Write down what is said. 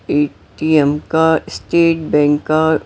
ATM का State Bank का--